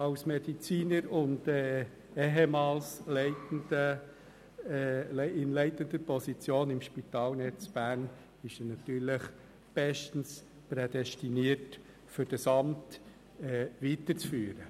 Als Mediziner und ehemals in leitender Position innerhalb der Spitalnetz Bern AG, ist er natürlich bestens dafür prädestiniert dieses Amt weiterzuführen.